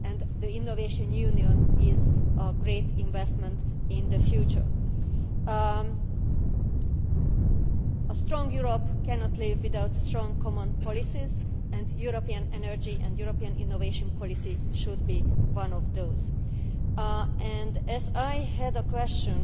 the Innovation Union is a great investment in the future. A strong Europe cannot live without strong common policies and European energy and European innovation policy should be one of those. My question